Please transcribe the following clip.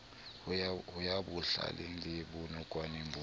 ya bohlwela le bonokwane bo